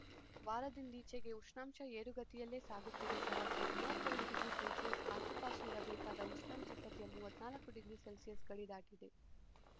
ವಾರದಿಂದೀಚೆಗೆ ಉಷ್ಣಾಂಶ ಏರುಗತಿಯಲ್ಲೇ ಸಾಗುತ್ತಿದೆ ಸರಾಸರಿ ಮೂವತ್ತೆರಡು ಡಿಗ್ರಿ ಸೆಲ್ಸಿಯಸ್ ಆಸುಪಾಸು ಇರಬೇಕಾದ ಉಷ್ಣಾಂಶ ಸದ್ಯ ಮೂವತ್ತ್ ನಾಲ್ಕು ಡಿಗ್ರಿ ಸೆಲ್ಸಿಯಸ್ ಗಡಿ ದಾಟಿದೆ